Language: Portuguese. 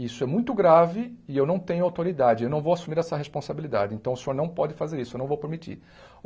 Isso é muito grave e eu não tenho autoridade, eu não vou assumir essa responsabilidade, então o senhor não pode fazer isso, eu não vou permitir.